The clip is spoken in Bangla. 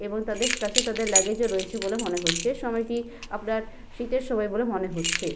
এবং তাদের কাছে তাদের লাগেজ ও রয়েছে বলে মনে হচ্ছে সময়টি আপনার শীতের সময় বলে মনে হচ্ছে ।